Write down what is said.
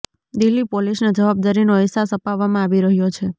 દિલ્હી પોલીસને જવાબદારીનો અહેસાસ અપાવવામાં આવી રહ્યો છે